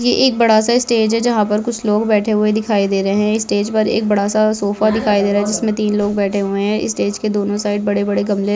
ये एक बड़े सा स्टेज है जहा पर कुछ लोग बैठे हुए दिखाई दे रहे है स्टेज पर एक बड़ा सा सोफ़ा दिखाई दे रहा है जिसमे तीन लोग बैठे हुए है इस स्टेज के दोनों साइड बड़े बड़े गमले --